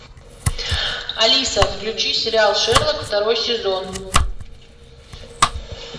алиса включи сериал шерлок второй сезон